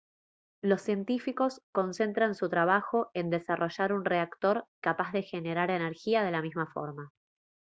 los científicos concentran su trabajo en desarrollar un reactor capaz de generar energía de la misma forma